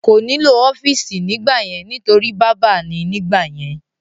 Kò ní lò ọ́fìsì nígbà yẹn nítorí bábà ni nígbà yẹn